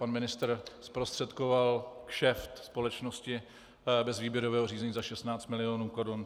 Pan ministr zprostředkoval kšeft společnosti bez výběrového řízení za 16 milionů korun.